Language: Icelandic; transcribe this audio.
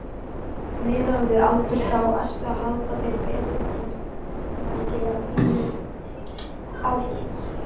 Miðað við aldur þá ertu að halda þér betur en margir á þínum aldri?